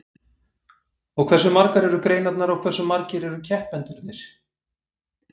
Og hversu margar eru greinarnar og hversu margir eru keppendurnir?